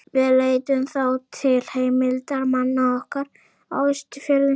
Við leituðum þá til heimildarmanna okkar á Austfjörðum.